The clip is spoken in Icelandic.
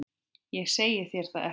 Ég segi þér það ekki.